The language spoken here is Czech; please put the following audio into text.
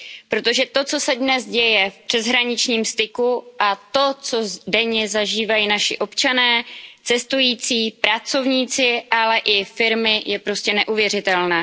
Protože to, co se dnes děje v přeshraničním styku a to, co denně zažívají naši občané, cestující, pracovníci, ale i firmy, je prostě neuvěřitelné.